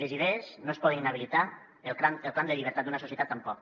les idees no es poden inhabilitar el clam de llibertat d’una societat tampoc